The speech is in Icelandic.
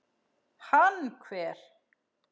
Hann hver?